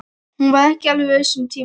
Hún var ekki alveg viss um tíma.